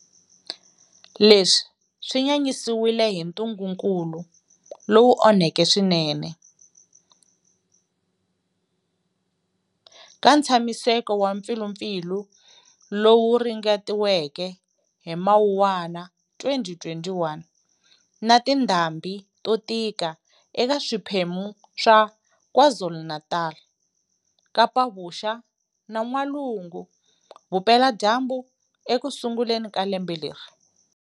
Leswi swi nyanyisiwile hi ntungukulu lowu onheke swinene, ka ntshamiseko wa mpfilupfilu lowu ringetiweke hi Mawuwana 2021, na tindhambi to tika eka swipemu swa Kwa Zulu-Natal, Kapa-Vuxa na N'walungu-Vupeladyambu ekusunguleni ka lembe leri.